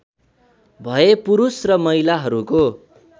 भए पुरुष र महिलाहरूको